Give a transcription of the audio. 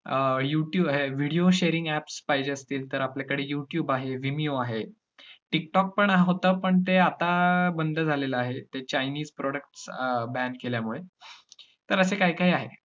आता अं YouTube~ video sharing apps पाहिजे असतील, तर आपल्याकडे यूट्यूब आहे, वीमिओ आहे. टिकटोकपण होतं पण ते आता बंद झालेलं आहे ते chinese products अं ban केल्यामुळे तर अस काय काय आहे.